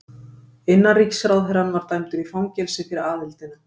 Innanríkisráðherrann var dæmdur í fangelsi fyrir aðildina.